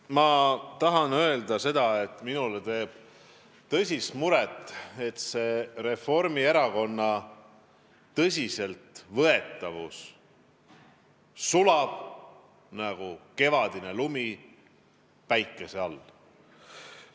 Ma tahan öelda, et minule teeb tõsist muret, et Reformierakonna tõsiseltvõetavus sulab nagu kevadine lumi päikese käes.